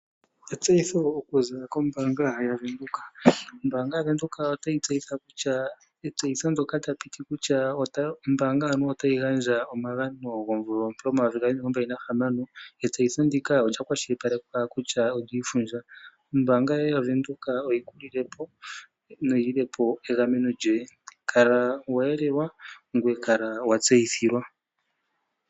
Etseyitho okuza kombaanga yaVenduka. Ombaanga yaVenduka otayi tseyitha kutya etseyitho ndyoka taliti kutya ombaanga anuwa otayi gandja omagano gomvula ompe 2026 olya keshilipalekwa kutya kalishi lyoshili. Ombaanga yaVenduka oyi kulilepo kala wagamenwa.